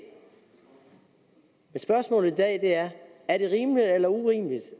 men spørgsmålet i dag er er det rimeligt eller urimeligt